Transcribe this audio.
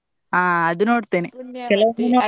ಹಾ ಅದು ನೋಡ್ತೇನೆ ಕೆಲವೊಮ್ಮೆ ನೋಡ್ತೇನೆ.